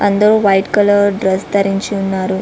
అందరూ white colour dress ధరించి ఉన్నారు.